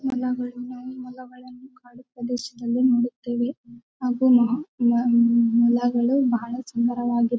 ಮೂಲಗಳಿಂದ ಮೊಲಗಳನ್ನು ಕಾಡು ಪ್ರದೇಶದಲ್ಲಿ ನೋಡೋತ್ತವೆ ಹಾಗು ಮ ಮ ಮೊಲಗಳು ಬಹಳ ಸುಂದರವಾಗಿ--